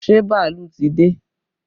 Ṣé bàálù ti dé?